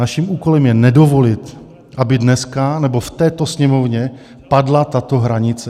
Naším úkolem je nedovolit, aby dneska, nebo v této Sněmovně padla tato hranice.